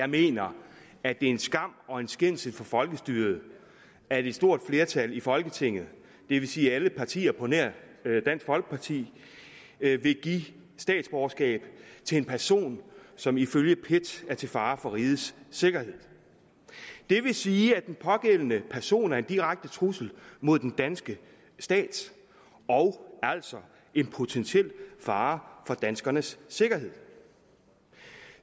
jeg mener at det er en skam og en skændsel for folkestyret at et stort flertal i folketinget det vil sige alle partier på nær dansk folkeparti vil give statsborgerskab til en person som ifølge pet er til fare for rigets sikkerhed det vil sige at den pågældende person er en direkte trussel mod den danske stat og altså en potentiel fare for danskernes sikkerhed